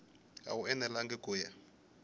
a wu enelangi ku ya